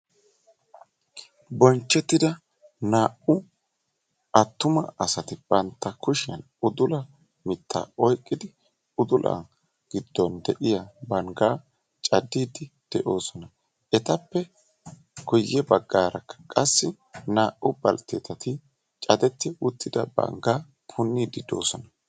Bonchchettida naa"u attuma asati bantta kushshiyaan udula mittaa oyqqidi udula giddon de'iyaa banggaa caddiidi de'oosona. etappe guye baggaara naa"u balttetati cadetti uttida banggaa punniidi de'oosona.